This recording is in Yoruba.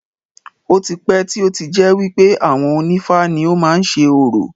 Ó ti pẹ́ tí ó ti jẹ́ wípé àwọn onífá ni ó má ń ṣe orò.